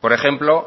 por ejemplo